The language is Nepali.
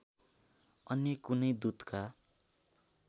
अन्य कुनै दूतका